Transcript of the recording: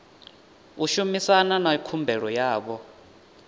u shumana na khumbelo yavho